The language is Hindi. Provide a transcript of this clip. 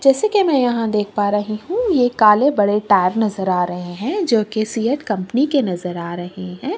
जैसे कि मै यहाँ देख पा रही हूँ ये काले बड़े टायर नजर आ रहें हैं जोकि सी _ए _अ_ट कम्पनी के नजर आ रहें हैं।